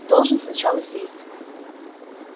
ты должен сначала сесть